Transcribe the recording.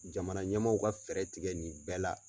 Jamana ɲɛmaaw ka fɛɛrɛ tigɛ nin bɛɛ la.